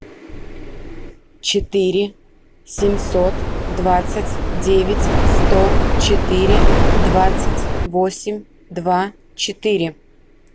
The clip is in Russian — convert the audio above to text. четыре семьсот двадцать девять сто четыре двадцать восемь два четыре